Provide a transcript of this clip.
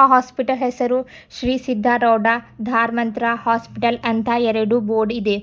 ಆ ಹಾಸ್ಪಿಟಲ್ ಹೆಸರು ಶ್ರೀ ಸಿದ್ದಾರುಡಾ ದಾರ್ ಮಂತ್ರ ಹಾಸ್ಪಿಟಲ್ ಅಂತಾ ಎರಡು ಬೋರ್ಡ್ ಇದೆ